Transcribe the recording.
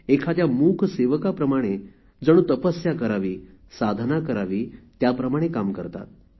एखाद्या मूक सेवकाप्रमाणे जणू तपस्या करावी साधना करावी त्याप्रमाणे काम करतात